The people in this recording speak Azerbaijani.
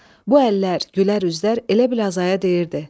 Bu əllər, gülər üzlər elə bil Azaya deyirdi: